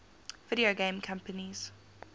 video game companies